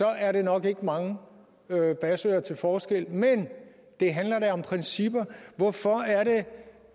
er der nok ikke mange basører til forskel men det handler da om principper hvorfor